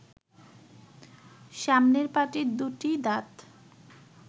সামনের পাটির দু’টি দাঁত